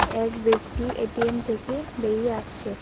এক ব্যক্তি এ_টি_এম থেকে বেরিয়ে আসছে।